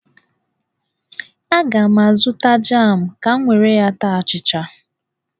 Aga m azụta jam ka m were taa achịcha.